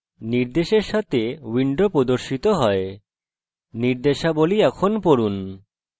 নির্দেশের সাথে window প্রদর্শিত হয় নির্দেশাবলী পড়ুন